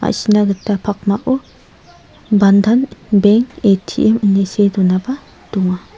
ma·sina gita pakmao bandan beng A_T_M ine see donaba donga.